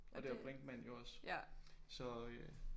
Og det er Brinkmann jo også. Så øh